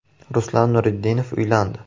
Ruslan Nurudinov uylandi.